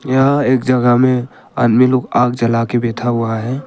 यहां एक जगह में आदमी लोग आग जला के बैठा हुआ है।